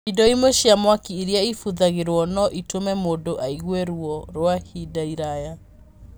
Indo imwe cia mwaki iria ibũthagĩrũo no itũme mũndũ aigue ruo rwa ivinda riraya.